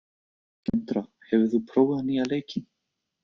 Kendra, hefur þú prófað nýja leikinn?